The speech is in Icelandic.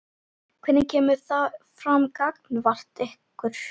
Hvernig kemur það fram gagnvart ykkur?